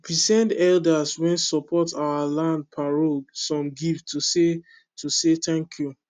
we send elders wen support our land parole some gifts to say to say tanku